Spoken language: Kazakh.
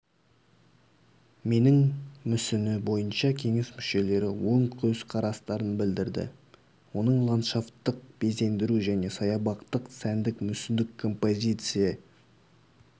менің мүсіні бойынша кеңес мүшелері оң көзқарастарын білдірді оның ландшафттық безендіру және саябақтық сәндік-мүсіндік композиция